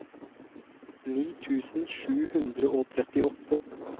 ni tusen sju hundre og trettiåtte